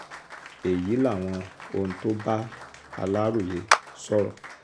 èyí làwọn ohun tó bá aláròye sọ̀rọ̀